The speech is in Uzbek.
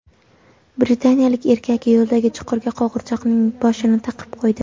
Britaniyalik erkak yo‘ldagi chuqurga qo‘g‘irchoqning boshini tiqib qo‘ydi.